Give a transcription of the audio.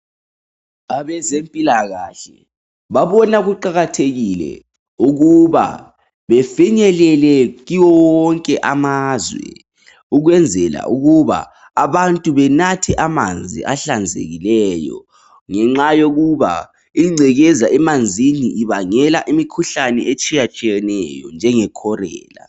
Abezempilakahle babona kuqakathekile ukuba befinyelele kiwo wonke amazwe ukwenzela ukuba abantu benathe amanzi ahlanzekileyo ngenxa yokuba ingcekeza emanzini ibangela imikhuhlane etshiyatshiyeneyo njenge cholera